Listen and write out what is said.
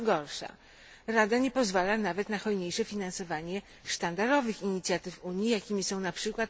Co gorsza, Rada nie pozwala nawet na hojniejsze finansowanie sztandarowych inicjatyw Unii, jakimi są np.